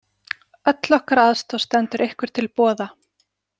Öll okkar aðstoð stendur ykkur til boða.